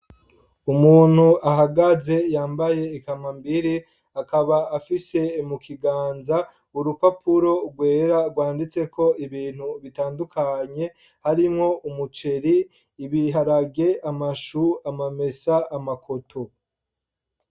Umuntu ahagaze, yambaye ikambambiri, akaba afise mu kiganza, urupapuro rwera, rwanditseko ibintu bitandukanye, harimo: umuceri, ibiharage, amashu, amamesa, amakoto.